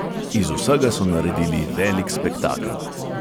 "Iz vsega so naredili velik spektakel."